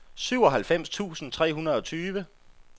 syvoghalvfems tusind tre hundrede og tyve